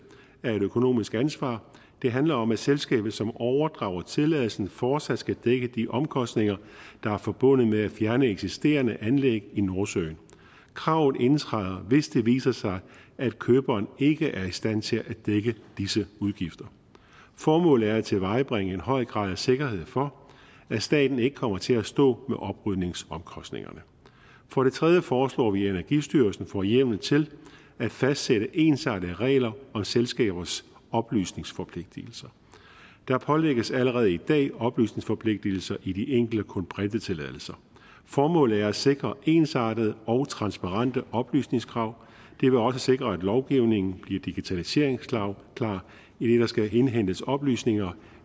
er et økonomisk ansvar det handler om at selskabet som overdrager tilladelsen fortsat skal dække de omkostninger der er forbundet med at fjerne eksisterende anlæg i nordsøen kravet indtræder hvis det viser sig at køberen ikke er i stand til at dække disse udgifter formålet er at tilvejebringe en høj grad af sikkerhed for at staten ikke kommer til at stå med oprydningsomkostningerne for det tredje foreslår vi at energistyrelsen får hjemmel til at fastsætte ensartede regler om selskabers oplysningsforpligtelser der pålægges allerede i dag oplysningsforpligtelser i de enkelte kulbrintetilladelser formålet er at sikre ensartede og transparente oplysningskrav det vil også sikre at lovgivningen bliver digitaliseringsklar idet der skal indhentes oplysninger